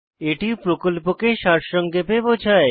এটি প্রকল্পকে সারসংক্ষেপে বোঝায়